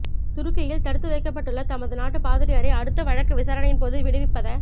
துருக்கியில் தடுத்துவைக்கப்பட்டுள்ள தமது நாட்டு பாதிரியாரை அடுத்த வழக்கு விசாரணையின் போது விடுவிப்பத